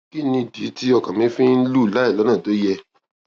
kí nìdí tí ọkàn mi fi ń lù láìlónà tó yẹ